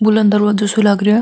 बुलंद दरवाजो सो लागरो है।